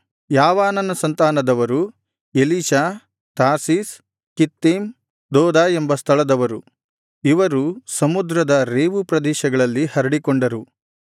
ಯಾವಾನನ ಸಂತಾನದವರು Elishah Tarshish Kittim ದೋದಾ ಎಂಬ ಸ್ಥಳದವರು ಇವರು ಸಮುದ್ರದ ರೇವು ಪ್ರದೇಶಗಳಲ್ಲಿ ಹರಡಿಕೊಂಡರು